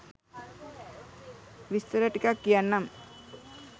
විස්තර ටිකක් කියන්නම්